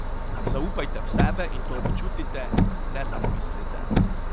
Zaupajte v sebe in to občutite, ne samo mislite.